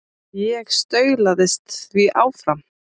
Ég staulaðist því áfram.